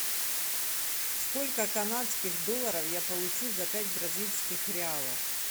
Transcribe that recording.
сколько канадских долларов я получу за пять бразильских реалов